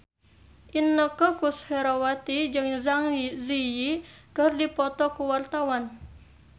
Inneke Koesherawati jeung Zang Zi Yi keur dipoto ku wartawan